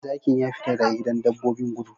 Zakin ya fita daga gidan dabbobin! gudu!